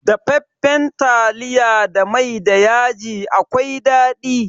Dafaffan taliya da mai da yaji akwai daɗi.